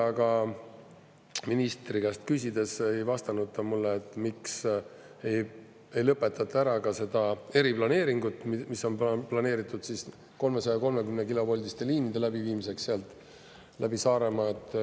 Aga ministri käest küsides ei vastanud ta mulle, miks ei lõpetata ära ka seda eriplaneeringut, mis on planeeritud 330-kilovoldiste linde läbiviimiseks sealt läbi Saaremaa.